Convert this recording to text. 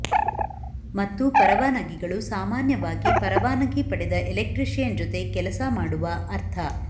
ಮತ್ತು ಪರವಾನಗಿಗಳು ಸಾಮಾನ್ಯವಾಗಿ ಪರವಾನಗಿ ಪಡೆದ ಎಲೆಕ್ಟ್ರಿಷಿಯನ್ ಜೊತೆ ಕೆಲಸ ಮಾಡುವ ಅರ್ಥ